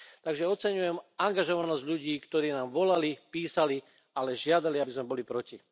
Takže oceňujem angažovanosť ľudí, ktorí nám volali, písali, ale žiadali, aby sme boli proti.